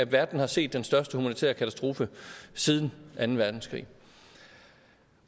verden har set den største humanitære katastrofe siden anden verdenskrig